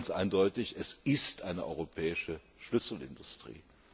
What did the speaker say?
Also ganz eindeutig es ist eine europäische Schlüsselindustrie.